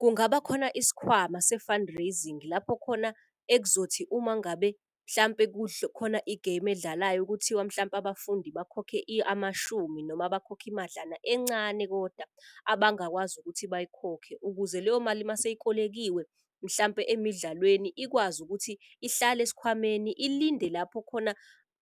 Kungaba khona isikhwama se-fund rasing lapho khona ekuzothi uma ngabe mhlampe khona igemu edlalayo. Kuthiwa mhlampe abafundi bakhokhe amashumi noma bakhokhe imadlana encane koda abangakwazi ukuthi bayikhokhe. Ukuze leyo mali maseyikolekiwe mhlampe emidlalweni ikwazi ukuthi ihlale esikhwameni ilinde lapho